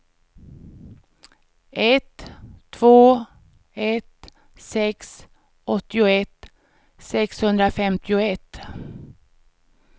ett två ett sex åttioett sexhundrafemtioett